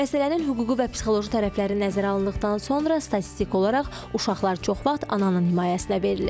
Məsələnin hüquqi və psixoloji tərəfləri nəzərə alındıqdan sonra statistik olaraq uşaqlar çox vaxt ananın himayəsinə verilir.